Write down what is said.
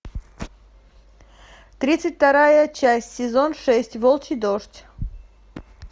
тридцать вторая часть сезон шесть волчий дождь